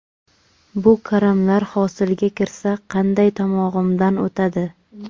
Bu karamlar hosilga kirsa, qanday tomog‘imdan o‘tadi?!